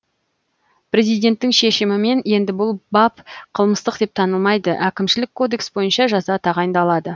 президенттің шешімімен енді бұл бап қылмыстық деп танылмайды әкімшілік кодекс бойынша жаза тағайындалады